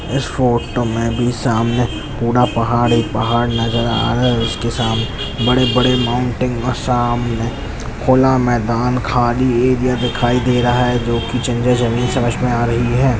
इस फोटो में भी सामने पूरा पहाड़ ही पहाड़ नजर आ रहा है उसके सामने बड़े बड़े पहाड़ नजर आ रहे हैं सामने खुला मैदान खाली एरिया दिखाई दे रहा हैं जो जमीन समझमें आ रही हैं।